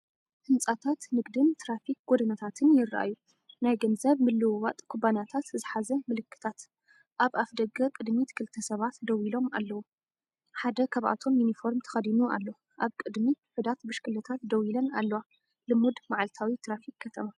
ህንጻታት ንግዲን ትራፊክ ጎደናታትን ይረኣዩ። ናይ ገንዘብ ምልውዋጥ ኩባንያታት ዝሓዘ ምልክታት። ኣብ ኣፍደገ ቅድሚት ክልተ ሰባት ደው ኢሎም ኣለዉ፡ ሓደ ካብኣቶም ዩኒፎርም ተኸዲኑ ኣሎ። ኣብ ቅድሚት ውሑዳት ብሽክለታታት ደው ኢለን ኣለዋ። ልሙድ መዓልታዊ ትራፊክ ከተማ።